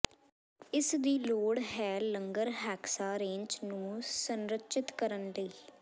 ਇਸ ਦੀ ਲੋੜ ਹੈ ਲੰਗਰ ਹੈਕਸਾ ਰੇੰਚ ਨੂੰ ਸੰਰਚਿਤ ਕਰਨ ਲਈ